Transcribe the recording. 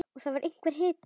Og það var einhver hiti.